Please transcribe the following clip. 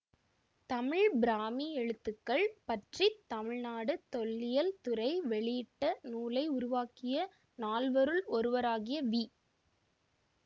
தமிழ்பிராமி எழுத்துக்கள் பற்றி தமிழ்நாடு தொல்லியல் துறை வெளியிட்ட நூலை உருவாக்கிய நால்வருள் ஒருவராகிய வி